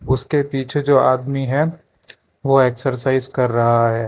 उसके पीछे जो आदमी है वो एक्सरसाइज कर रहा है।